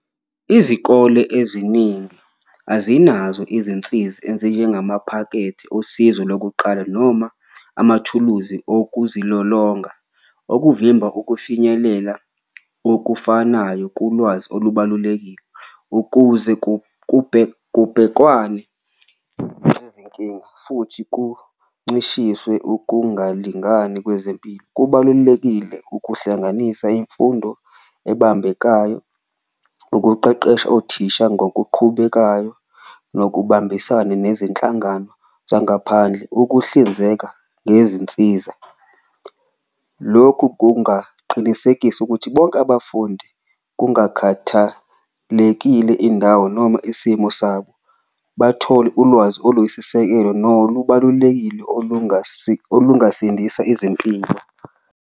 Izikole eziningi azinazo izinsizi ezinjengamaphakethe osizo lokuqala noma amathuluzi okuzilolonga, okuvimba ukufinyelela okufanayo kulwazi olubalulekile. Ukuze kubhekwane nezinkinga futhi kuncishiswe ukungalingani kwezempilo, kubalulekile ukuhlanganisa imfundo ebambekayo, ukuqeqesha othisha ngokuqhubekayo nokubambisana nezinhlangano zangaphandle. Ukuhlinzeka ngezinsiza, lokhu kungaqinisekisa ukuthi bonke abafundi kungakhathalekile indawo noma isimo sabo, bathole ulwazi oluyisisekelo noma olubalulekile olungasindisa izimpilo.